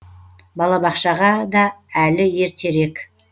балабақшаға да әлі ертерек